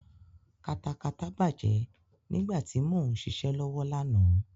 Katakata bàjẹ́ nígbà tí mo ń ṣiṣẹ́ lọ́wọ́ lánàá.